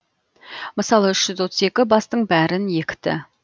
мысалы үш жүз отыз екі бастың бәрін екті